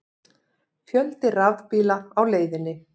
Fjöldi rafbíla á leiðinni